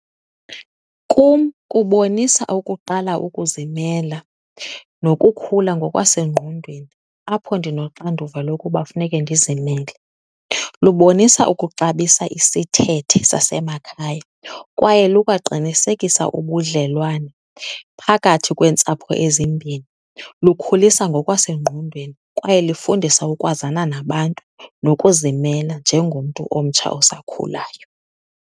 Kum kubonisa ukuqala ukuzimela nokukhula ngokwasengqondweni apho ndinoxanduva lokuba funeke ndizimele. Lubonisa ukuxabisa isithethe sasemakhaya kwaye lukwaqinisekisa ubudlelwane phakathi kweentsapho ezimbini. Lukhulisa ngokwasengqondweni kwaye lifundisa ukwazana nabantu nokuzimela njengomntu omtsha osakhulayo.